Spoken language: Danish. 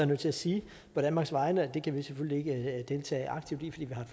nødt til at sige på danmarks vegne at det kan vi selvfølgelig ikke deltage aktivt i fordi vi har